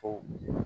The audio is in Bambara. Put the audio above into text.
Ko